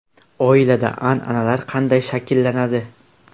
Oilada an’analar qanday shakllanadi?.